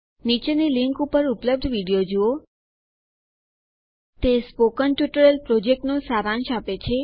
નીચેની લીંક ઉપર ઉપલબ્ધ વિડીયો જુઓ તે સ્પોકન ટ્યુટોરિયલ પ્રોજેક્ટનો સારાંશ આપે છે